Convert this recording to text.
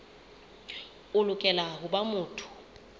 o lokela ho ba motho